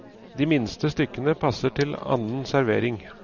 De minste stykkene passer til annen servering.